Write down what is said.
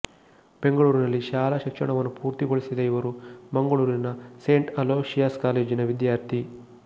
ಬೆಂಗಳೂರಿನಲ್ಲಿ ಶಾಲಾ ಶಿಕ್ಷಣವನ್ನು ಪೂರ್ಣಗೊಳಿಸಿದ ಇವರು ಮಂಗಳೂರಿನ ಸೇಂಟ್ ಅಲೋಶಿಯಾಸ್ ಕಾಲೇಜಿನ ವಿದ್ಯಾರ್ಥಿ